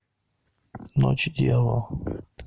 ночь дьявола